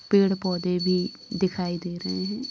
पेड़-पौधे भी दिखाई दे रहे हैं।